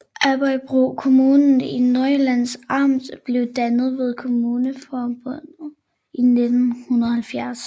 Aabybro Kommune i Nordjyllands Amt blev dannet ved kommunalreformen i 1970